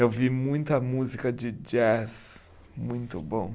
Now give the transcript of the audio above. Eu vi muita música de jazz muito bom.